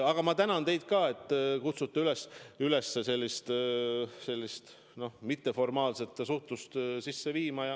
Ja ma tänan teid ka, et te kutsute üles sellist mitteformaalset suhtlust sisse viima.